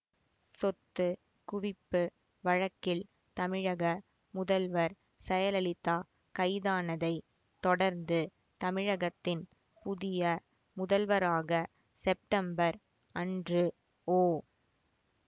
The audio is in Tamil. சொத்து குவிப்பு வழக்கில் தமிழக முதல்வர் செயலலிதா கைதானதை தொடர்ந்து தமிழகத்தின் புதிய முதல்வராக செப்டம்பர் அன்று ஓ